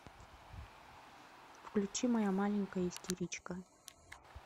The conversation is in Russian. включи моя маленькая истеричка